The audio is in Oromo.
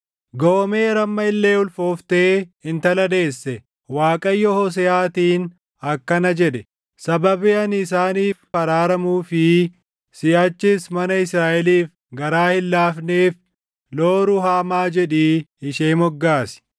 Goomer amma illee ulfooftee intala deesse. Waaqayyo Hooseʼaatiin akkana jedhe; “Sababii ani isaaniif araaramuu fi siʼachis mana Israaʼeliif garaa hin laafneef Loo-Ruhaamaa jedhii ishee moggaasi.